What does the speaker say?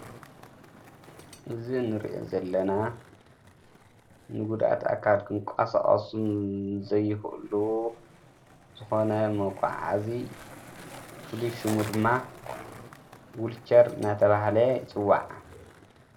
እዝ ንርአ ዘለና ንጉዳት ኣካል ድንቋሣኣሱም ዘይህእሉ ዝኾነ መቛሓዚ ፍሉሹሙ ድማ ውልከር ናተባህለ ይጽዋዕ።